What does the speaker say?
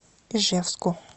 ижевску